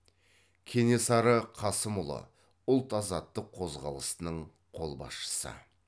кенесары қасымұлы ұлт азаттық қозғалысының қолбасшысы